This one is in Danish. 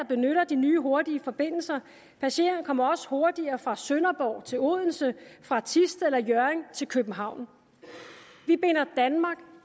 benytter de nye hurtige forbindelser passagerne kommer også hurtigere fra sønderborg til odense og fra thisted eller hjørring til københavn vi binder danmark